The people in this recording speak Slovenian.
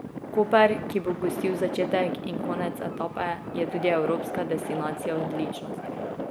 Koper, ki bo gostil začetek in konec etape, je tudi Evropska destinacija odličnosti.